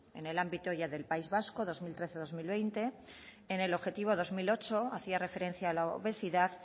en el ámbito ya del país vasco dos mil trece dos mil veinte en el objetivo dos mil ocho hacía referencia a la obesidad